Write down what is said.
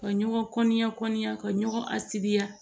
Ka ɲɔgɔn kɔnɔn ka ɲɔgɔn a siri